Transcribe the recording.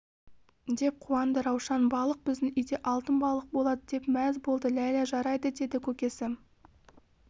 деп қуанды раушан балық біздің үйде алтын балық болады деп мәз болды ләйлә жарайды деді көкесі